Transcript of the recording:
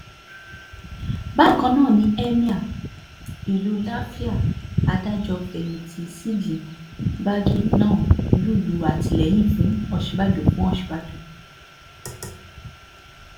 bákan náà ni emir ìlú làfíà adájọ́-fẹ̀yìntì ṣídì bagé náà ń lùlù àtìlẹyìn fún òsínbàjò fún òsínbàjò